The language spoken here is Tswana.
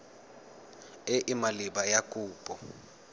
e e maleba ya kopo